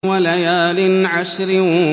وَلَيَالٍ عَشْرٍ